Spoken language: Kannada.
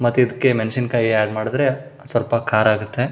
ಮತ್ ಇದಕ್ಕೆ ಮೆಣಸಿನಕಾಯೀ ಆಡ್ ಮಾಡಿದ್ರೆ ಸ್ವಲ್ಪ ಖಾರ ಆಗುತ್ತೆ.